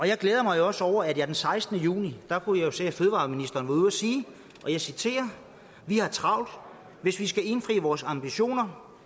jeg glæder mig også over at jeg den sekstende juni kunne se at fødevareministeren var ude at sige vi har travlt hvis vi skal indfri vores høje ambitioner